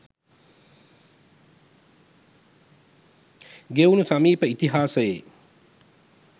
ගෙවුණු සමීප ඉතිහාසයේ